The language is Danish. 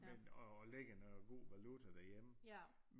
Men og lægger noget god valuta derhjemme